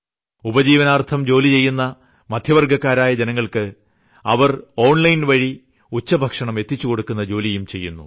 ഉപജീവനാർത്ഥം ജോലി ചെയ്യുന്ന മധ്യവർഗ്ഗക്കാരായ ജനങ്ങൾക്ക് അവർ ഓൺലൈൻ വഴി ഉച്ചഭക്ഷണം എത്തിച്ചുകൊടുക്കുന്ന ജോലിയും ചെയ്യുന്നു